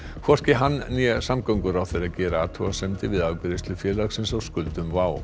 hvorki hann né samgönguráðherra gera athugasemdir við afgreiðslu félagsins á skuldum WOW